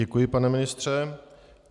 Děkuji, pane ministře.